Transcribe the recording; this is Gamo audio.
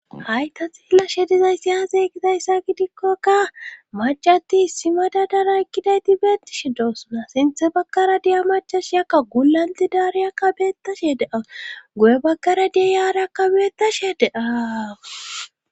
Hay ta xillashe dizaysi aazee gizayssa gidikkoka macati simada dana ekkidayti beettishe doosuna sinthe bagkara diya macash yakka gulanti daariyaka beettashee dea gu7e bagkara dia yaara kabeetashee deaawa.